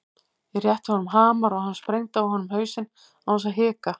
Ég rétti honum hamar og hann sprengdi á honum hausinn án þess að hika.